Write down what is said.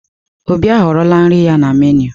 Obi ahọrọla nri ya na meenụ.